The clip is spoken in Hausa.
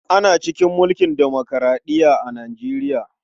Ana cikin mulkin demokuraɗiya a Nijeriya.